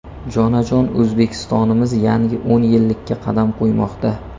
Jonajon O‘zbekistonimiz yangi o‘n yillikka qadam qo‘ymoqda.